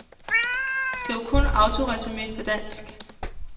Skriv kun autoresumé på dansk.